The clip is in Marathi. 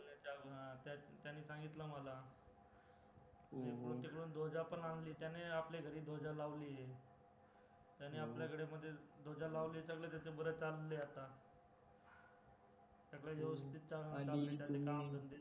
तिकडून ध्वजा पण आणली त्यांनी आपल्या घरी ध्वजा लावलीये, त्यांनी आपल्याकडे म्हणजे ध्वजा लावलीये सगळं त्याचं बारा चाललंय आता सगळं व्यवस्तीत चालू आहे काम धंदे